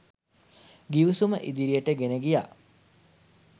ගිවිසුම ඉදිරියට ගෙන ගියා.